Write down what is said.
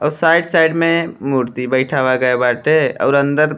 और side side में मूर्ति बइठावा गई बाटे और अंदर --